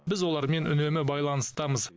біз олармен үнемі байланыстамыз